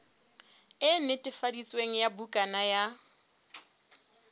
e netefaditsweng ya bukana ya